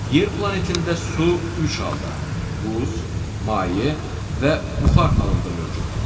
Yer planetində su üç halda: buz, maye və buxar halında mövcuddur.